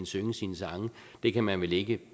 synge sine sange det kan man vel ikke